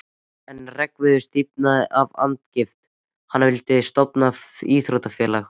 En Hreggviður stífnaði af andagift: Hann vildi stofna íþróttafélag!